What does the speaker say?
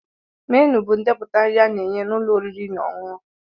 Ménu bụ ndepụta nri a na-enye n'ụlọ oriri na ọṅụṅụ